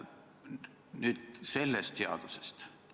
Nüüd aga sellest seaduseelnõust.